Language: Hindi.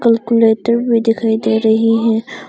कैलकुलेटर भी दिखाई दे रही है।